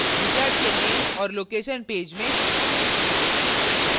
wizard के name और location page में